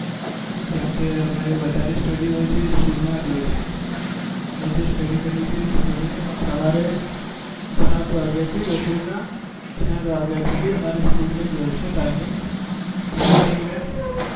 કેમ કે અમારે વધારે study હોય છે એ school માં જ હોય છે અમે જે study કરીએ છીએ એ study સવારે સાત વાગ્યા થી બપોર નાં ચાર વાગ્યા સુધી હોય છે અમારા school ની timing એમાં થી અમે